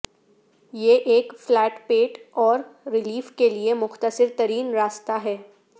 یہ ایک فلیٹ پیٹ اور ریلیف کے لیے مختصر ترین راستہ ہے